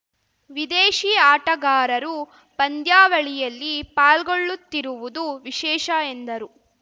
ವಿದೇಶಿ ಆಟಗಾರರು ಪಂದ್ಯಾವಳಿಯಲ್ಲಿ ಪಾಲ್ಗೊಳ್ಳುತ್ತಿರುವುದು ವಿಶೇಷ ಎಂದರು